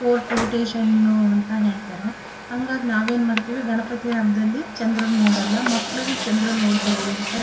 court ಟೇಶನ್ನು ಅಂತ ಹೇಳ್ತಾರೆ ಹಂಗಾಗ್ ನಾವ್ ಏನ್ ಮಾಡ್ತಿವಿ ಗಣಪತಿ ಹಬ್ದಲ್ಲಿ ಚಂದ್ರನ್ನು ನೋಡಲ್ಲಾ ಮಕ್ಳುಗು ಚಂದ್ರನ್ನ ನೋಡಬೇಡ್ರಿ ಅಂತ --